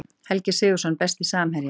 Helgi Sigurðsson Besti samherjinn?